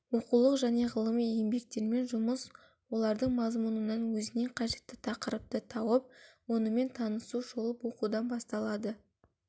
оқулық және ғылыми еңбектермен жұмыс олардың мазмұнынан өзіне қажетті тақырыпты тауып онымен танысу шолып оқудан басталады